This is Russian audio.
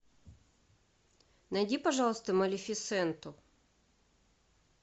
найди пожалуйста малефисенту